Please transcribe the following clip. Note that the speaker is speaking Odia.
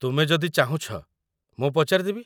ତୁମେ ଯଦି ଚାହୁଁଛ, ମୁଁ ପଚାରିଦେବି।